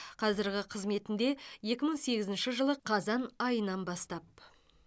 қазіргі қызметінде екі мың сегізінші жылы қазан айынан бастап